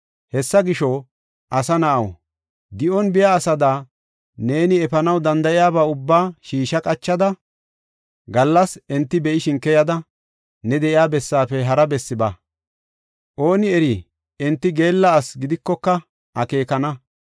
Hessa gisho, asa na7aw, di7on biya asada, neeni efanaw danda7iyaba ubba shiisha qachada, gallas enti be7ishin keyada, ne de7iya bessaafe hara bessi ba. Ooni eri enti geella asi gidikoka akeekana.